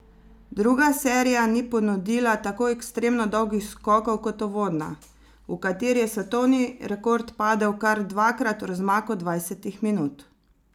Druga serija ni ponudila tako ekstremno dolgih skokov kot uvodna, v kateri je svetovni rekord padel kar dvakrat v razmaku dvajsetih minut.